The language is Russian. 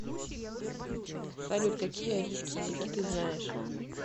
салют какие арийские языки ты знаешь